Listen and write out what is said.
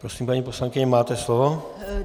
Prosím, paní poslankyně, máte slovo.